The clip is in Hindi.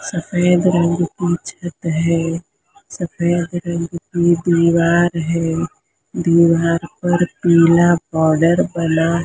सफेद रंग की छत है सफेद रंग की दीवार है दीवार पर पीला बॉर्डर बना--